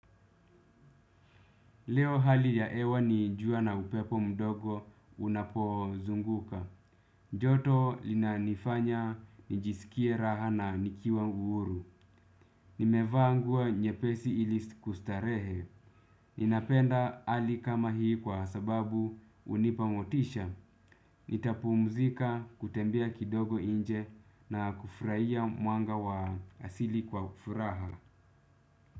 Leo hali ya hewa ni, jua na upepo mdogo unapozunguka. Joto linanifanya nijisikie raha na nikiwa huru. Nimevaa nguo nyepesi ili kustarehe. Ninapenda hali kama hii kwa sababu hunipa motisha. Nitapumzika kutembea kidogo nje na kufurahia mwanga wa asili kwa ufuraha.